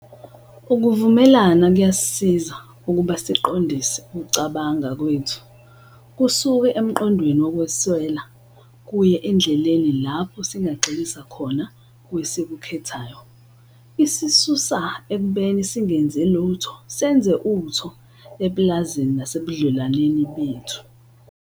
Ukuvumelana kuyasisiza ukuba siqondisa ukucabanga kwethu kusuke emqondweni wokweswela kuye endleleni lapho singagxilisa khona kwesikukhethayo - isisusa ekubeni singenzi lutho senze utho epulazini nasebudlelwaneni bethu.